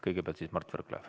Kõigepealt Mart Võrklaev.